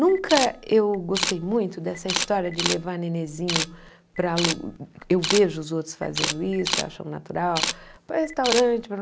Nunca eu gostei muito dessa história de levar nenenzinho para lu... Eu vejo os outros fazendo isso, acham natural, para restaurante, para...